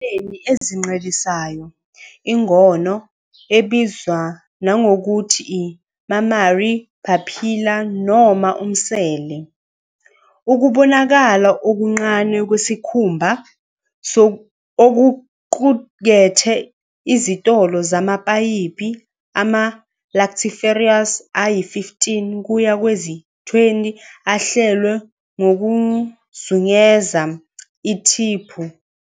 Ezilwaneni ezincelisayo, ingono, ebizwa nangokuthi i-mammary papilla noma umsele, ukubonakala okuncane kwesikhumba okuqukethe izitolo zamapayipi ama-lactiferous ayi-15 kuya kwezi-20 ahlelwe ngokuzungeza ithiphu.